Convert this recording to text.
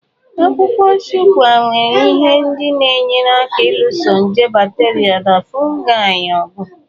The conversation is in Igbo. Akwụkwọ Shuwaka nwere ihe ndị na-enyere aka ịlụso nje bakterịa na fụụgai ọgụ.